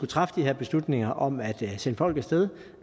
træffe de beslutninger om at sende folk af sted